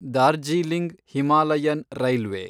Darjeeling Himalayan railway